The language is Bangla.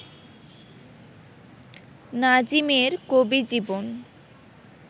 নাজিমের কবি-জীবন